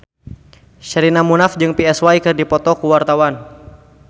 Sherina Munaf jeung Psy keur dipoto ku wartawan